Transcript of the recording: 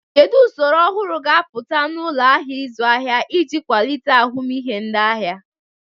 Kedu usoro ọhụrụ ga-apụta na ụlọ ahịa ịzụ ahịa iji kwalite ahụmịhe ndị ahịa?